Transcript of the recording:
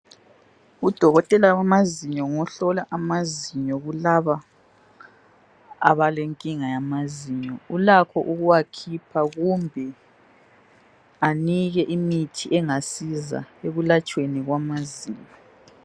Udokotela wamazinyo ngohlola amazinyo kulaba abalenkinga yamazinyo, ulakho ukuwakhipha kumbe anike imithi engasiza ekulatshweni kwamazinyo.